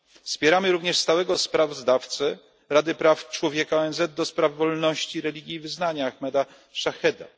Wspieramy również stałego sprawozdawcę Rady Praw Człowieka ONZ do spraw wolności religii i wyznań Ahmeda Shaheeda.